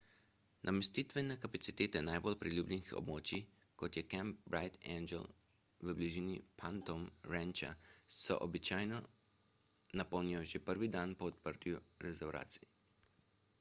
namestitvene kapacitete najbolj priljubljenih območij kot je kamp bright angel v bližini phantom rancha se običajno napolnijo že prvi dan po odprtju rezervacij